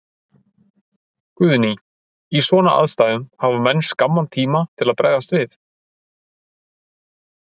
Guðný: Í svona aðstæðum, hafa menn skamman tíma til að bregðast við?